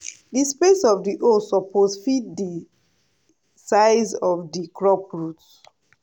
di space of di hole suppose fit di size of di crop root.